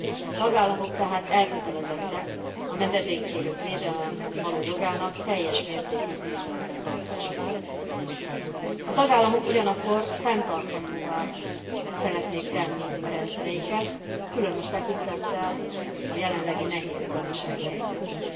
A tagállamok tehát elkötelezettek a menedékkérők védelemhez való jogának teljes mértékű tiszteletben tartása iránt. A tagállamok ugyanakkor fenntarthatóvá szeretnék tenni a rendszereiket, különös tekintettel a jelenlegi nehéz gazdasági helyzetre.